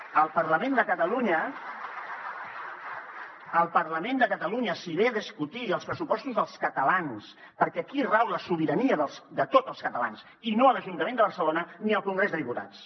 al parlament de catalunya s’hi ve a discutir els pressupostos dels catalans perquè aquí rau la sobirania de tots els catalans i no a l’ajuntament de barcelona ni al congrés dels diputats